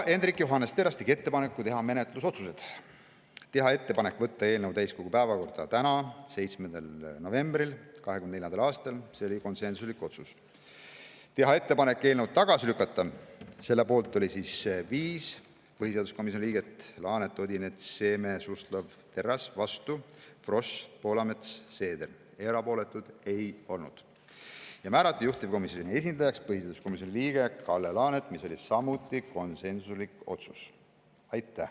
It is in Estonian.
Hendrik Johannes Terras tegi ettepaneku teha menetlusotsused: teha ettepanek võtta eelnõu täiskogu päevakorda tänaseks, 7. novembriks 2024, mis oli konsensuslik otsus; teha ettepanek eelnõu tagasi lükata, mille poolt oli 5 põhiseaduskomisjoni liiget, Laanet, Odinets, Seeme, Suslov ja Terras, vastu olid Frosch, Poolamets ja Seeder, erapooletuid ei olnud; määrata juhtivkomisjoni esindajaks põhiseaduskomisjoni liige Kalle Laanet, see oli konsensuslik otsus.